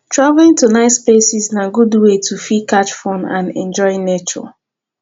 travelling to nice places na good way to fit catch fun and enjoy nature